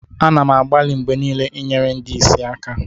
M na-agbalị mgbe niile inyere ndị ìsì aka